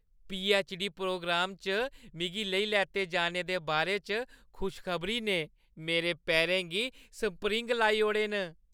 PhD. Programme च मिगी लेई लैते जाने दे बारे च खुश खबरी ने मेरे पैरें गी स्प्रिङ लाई ओड़े न।